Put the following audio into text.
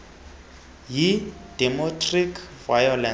yi domestic violence